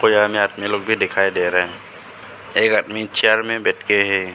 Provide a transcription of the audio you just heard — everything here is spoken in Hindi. बाजार में अपने लोग भी दिखाई दे रहे है एक आदमी चेयर में बैठ के है।